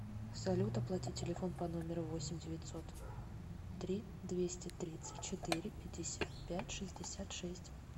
салют оплатить телефон по номеру восемь девятьсот три двести тридцать четыре пятьдесят пять шестьдесят шесть